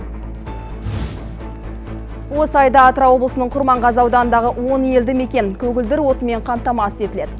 осы айда атырау облысының құрманғазы ауданындағы он елді мекен көгілдір отынмен қамтамасыз етіледі